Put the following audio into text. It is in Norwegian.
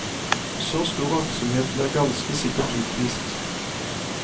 Så stor aktsomhet blir ganske sikkert utvist.